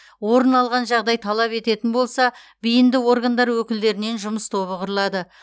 орын алған жағдай талап ететін болса бейінді органдар өкілдерінен жұмыс тобы құрылады